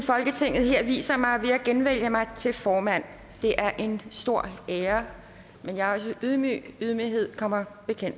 folketinget her viser mig ved at genvælge mig til formand det er en stor ære men jeg er også ydmyg og ydmyghed kommer